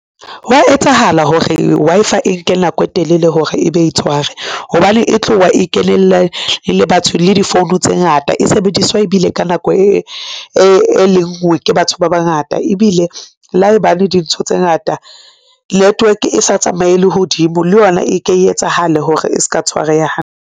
Hwa etsahala hore Wi-Fi e nke nako e telele hore e be e tshware hobane e tloha e kenella le batho le di phone tse ngata e sebediswa ebile ka nako e le nngwe ke batho ba bangata ebile le haebane dintho tse ngata network e sa tsamaye lehodimo, le yona e ke e etsahale hore e ska tshwareha hantle.